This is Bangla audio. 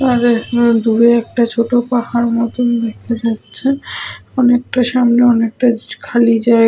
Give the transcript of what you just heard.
দূরে একটা ছোট পাহাড় মতন দেখা যাচ্ছে। অনেকটা সামনে অনেকটা খালি জায়গ --